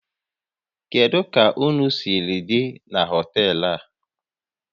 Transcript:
Kedu ka ụnụ siri dị na họtel a?